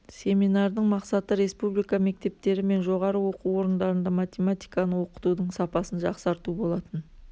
семинардың мақсаты республика мектептері мен жоғары оқу орындарында математиканы оқытудың сапасын жақсарту болатын